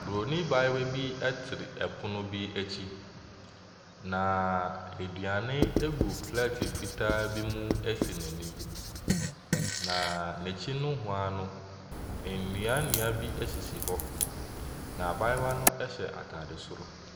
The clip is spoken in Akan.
Buroni abayewa bi twere pono bi akyi, na aduane gu plɛɛte fitaa bi mu si n'anim, na n'akyi nohoa no, nnua nnua bi sisi hɔ, na abayewa no hyɛ atade soro.